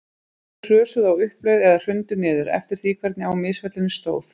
Þau hrösuðu á uppleið eða hrundu niður, eftir því hvernig á misfellunni stóð.